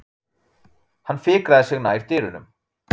Hann fikraði sig nær dyrunum.